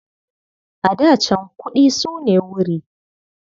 A da can, kuɗi su ne wuri.